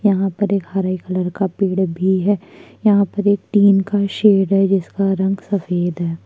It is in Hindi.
यहाँ पर एक हरे कलर का पेड़ भी है यहाँ पर एक टीन का भी सेड है जिसका रंग सफेद है।